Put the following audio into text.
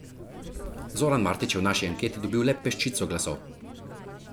Zoran Martič je v naši anketi dobil le peščico glasov.